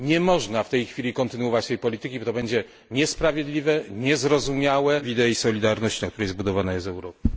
Nie można w tej chwili kontynuować tej polityki, bo będzie to niesprawiedliwe, niezrozumiałe i będzie wbrew idei solidarności, na której zbudowana jest Europa.